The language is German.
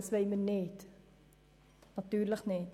Das wollen wir natürlich nicht.